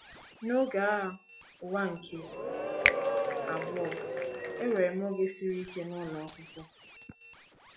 N’oge Agha Ụwa nke Abụọ, enwere m oge siri ike n’ụlọ akwụkwọ.